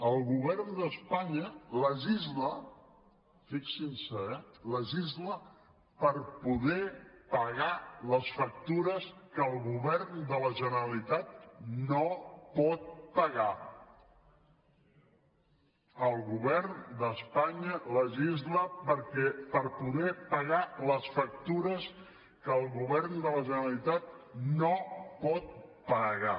el govern d’espanya legisla fixin se eh per poder pagar les factures que el govern de la generalitat no pot pagar el govern d’espanya legisla per poder pagar les factures que el govern de la generalitat no pot pagar